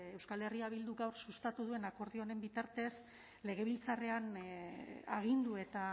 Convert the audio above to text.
euskal herria bilduk gaur sustatu duen akordioaren bitartez legebiltzarrean agindu eta